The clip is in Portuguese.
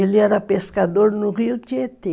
Ele era pescador no rio Tietê.